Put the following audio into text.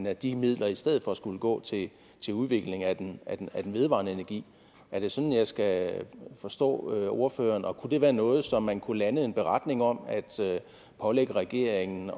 at de midler i stedet for skulle gå til udvikling af den vedvarende energi er det sådan jeg skal forstå ordføreren og kunne det være noget som man kunne lande en beretning om altså pålægge regeringen